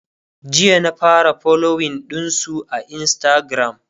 jiya na fara following ɗinsu a instagram